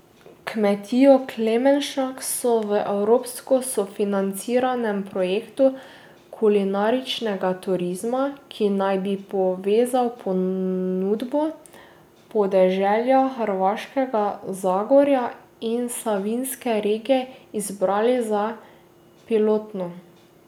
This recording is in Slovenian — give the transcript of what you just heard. Kmetijo Klemenšek so v evropsko sofinanciranem projektu kulinaričnega turizma, ki naj bi povezal ponudbo podeželja Hrvaškega Zagorja in Savinjske regije, izbrali za pilotno.